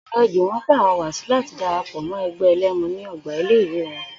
Ò̩ré̩ Jùwó̩n ń pàro̩wà si láti dara pò̩ mó̩ e̩gbé̩ e̩lé̩mu ní o̩gbà ilé ìwé wo̩n